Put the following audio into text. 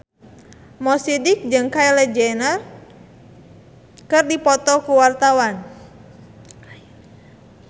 Mo Sidik jeung Kylie Jenner keur dipoto ku wartawan